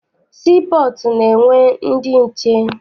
Sii pọọtụ na-enwe ndị nche.